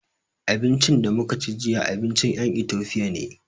Abincin da muka ci jiya, abincin ƴan Itofiya ne.